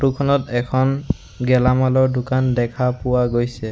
Photo খনত এখন গেলামালৰ দোকান দেখা পোৱা গৈছে।